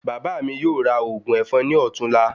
Bàbá mi yóò ra ògùn èfọn ní ọ̀tún la